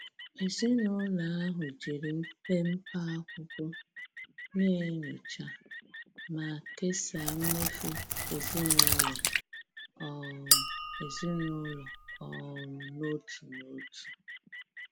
Ezinụlọ ahụ jiri mpepe akwụkwọ na-enyocha ma kesaa mmefu ezinụlọ um ezinụlọ um n'otu n'otu.